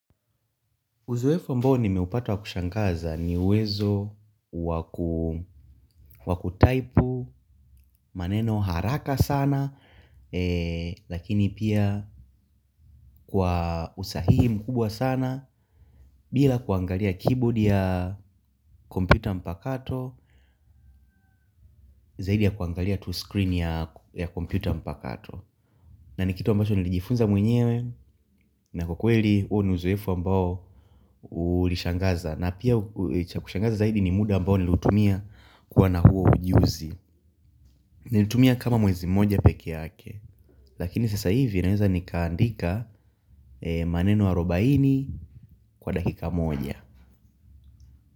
Uzoefu ambao nimeupata wa kushangaza ni uwezo wa type maneno haraka sana. Lakini pia kwa usahihi mkubwa sana bila kuangalia keyboard ya kompyuta mpakato zaidi ya kuangalia tu screen ya kompyuta mpakato na ni kitu ambacho nilijifunza mwenyewe. Na kwa kweli huo ni uzoefu ambao ulishangaza. Na pia cha kushangaza zaidi ni muda ambao ninautumia kuwa na huo ujuzi. Nilitumia kama mwezi mmoja pekee yake. Lakini sasa hivi naweza nikaandika maneno arobaini kwa dakika moja.